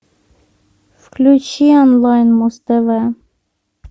включи онлайн муз тв